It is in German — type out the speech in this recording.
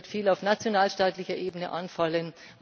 Da wird viel auf nationalstaatlicher Ebene anfallen.